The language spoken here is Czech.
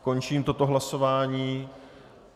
Končím toto hlasování.